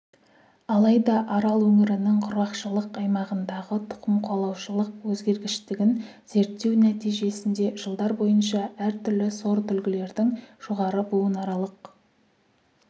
алайда арал өңірінің құрғақшылық аймағындағы тұқымқуалаушылық өзгергіштігін зерттеу нәтижесінде жылдар бойынша әртүрлі сортүлгілердің жоғары буынаралық